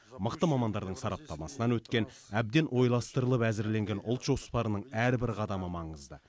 мықты мамандардың сараптамасынан өткен әбден ойластырылып әзірленген ұлт жоспарының әрбір қадамы маңызды